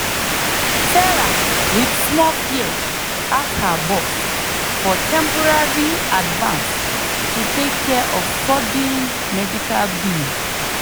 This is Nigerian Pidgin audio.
sarah with small fear ask her boss for temporary advance to take care of sudden medical bill.